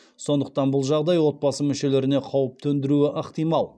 сондықтан бұл жағдай отбасы мүшелеріне қауіп төндіруі ықтимал